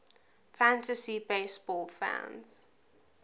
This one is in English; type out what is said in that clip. fantasy baseball fans